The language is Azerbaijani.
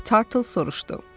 Mok Tartle soruşdu.